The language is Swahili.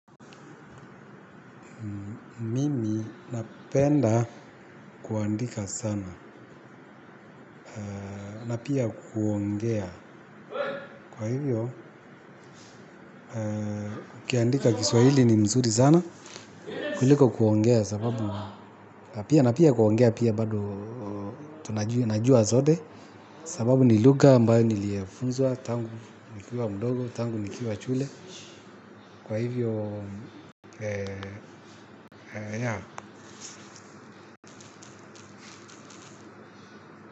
Mimi napenda kuandika sana. Na pia kuongea. Kwa hivyo ukiandika kishwahili ni mzuri sana kuliko kuongea sababu na pia kuongea pia bado. Tunajua najua zote. Sababu ni lugha ambayo niliyefunzwa. Tangu nikiwa mdogo tangu nikiwa shule. Kwa hivyo ya.